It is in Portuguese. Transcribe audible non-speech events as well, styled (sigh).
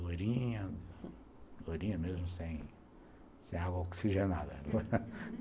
Lourinha, mesmo sem sem água oxigenada (laughs)